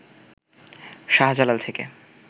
শাহজালাল থেকে